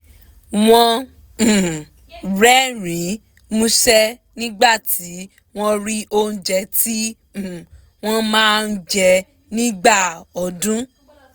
wọ́n um rẹ́rìn-ín músẹ́ nígbà tí wọ́n rí oúnjẹ tí um wọ́n máa ń jẹ nígbà ọdún